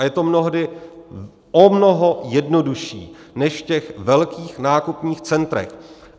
A je to mnohdy o mnoho jednodušší než v těch velkých nákupních centrech.